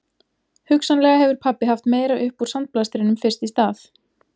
Hugsanlega hefur pabbi haft meira upp úr sandblæstrinum fyrst í stað